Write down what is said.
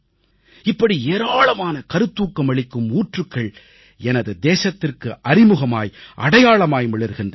இப்படி ஏராளமான கருத்தூக்கம் அளிக்கும் ஊற்றுக்கள் எனது தேசத்திற்கு அறிமுகமாய் அடையாளமாய் மிளிர்கின்றன